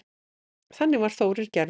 Þannig var Þórir gerður.